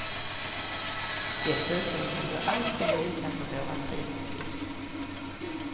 Dessutom kan du alltid lita på våra prisuppgifter.